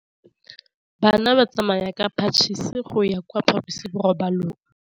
Bana ba tsamaya ka phašitshe go ya kwa phaposiborobalong.